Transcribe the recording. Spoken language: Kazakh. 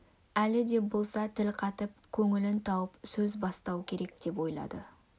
әлі де болса тіл қатып көңілін тауып сөз бастау керек деп ойлады